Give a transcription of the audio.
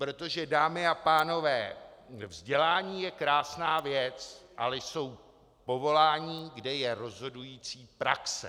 Protože, dámy a pánové, vzdělání je krásná věc, ale jsou povolání, kde je rozhodující praxe.